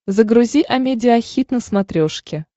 загрузи амедиа хит на смотрешке